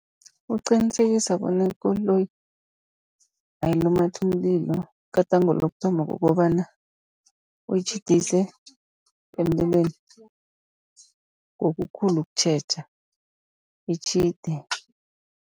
Ukuqinisekisa bona ikoloyi ayilumathi umlilo. Igadango lokuthoma kukobana uyitjhidise emlilweni ngokukhulu ukutjheja itjhide.